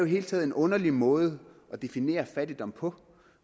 hele taget en underlig måde at definere fattigdom på